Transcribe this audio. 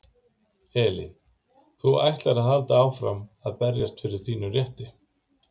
Elín: Þú ætlar að halda áfram að berjast fyrir þínum rétti?